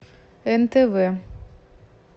нтв